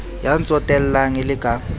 ya ntsotellang e le ka